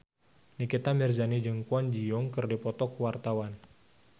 Nikita Mirzani jeung Kwon Ji Yong keur dipoto ku wartawan